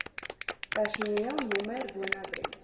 personeel nr woonadres